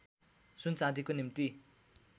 सुन चाँदीको निम्ति